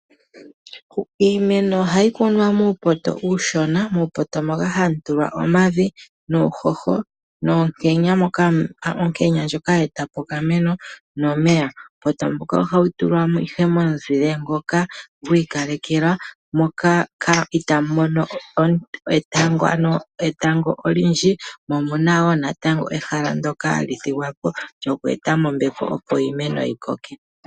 Iimeno ohayi kunwa muupoto uushona. Muupoto moka ohamu tulwa omavi, uuhoho noonkenya moka onkenya ndjoka hayi etapo okameno noshowoo omeya. Uupoto mbuka ohawu tulwa ihe momeya moka wi ikalekelwa, moka itaawu mono oonte dhetango odhindji . Omuna wo ehala ndyoka hali thigwapo opo iimeno mbyoka yikoke.